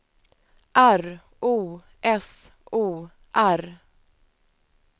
R O S O R